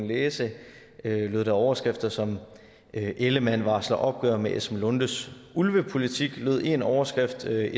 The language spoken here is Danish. læse overskrifter som lød ellemann varsler opgør med esben lunde larsens ulvepolitik sådan lød en overskrift et